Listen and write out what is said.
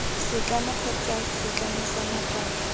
setlamo kgotsa setlamo sa nakwana